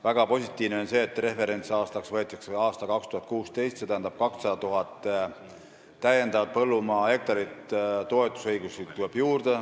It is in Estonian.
Väga positiivne on see, et referentsaastaks võetakse aasta 2016, st 200 000 põllumaa hektari kohta tuleb toetuse õigust juurde.